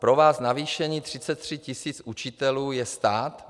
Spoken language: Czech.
Pro vás navýšení 33 tisíc učitelů je stát.